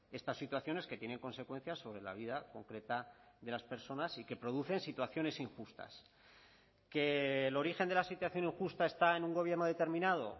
estas situaciones que tienen consecuencias sobre la vida concreta de las personas y que producen situaciones injustas que el origen de la situación injusta está en un gobierno determinado